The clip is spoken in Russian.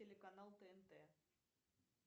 телеканал тнт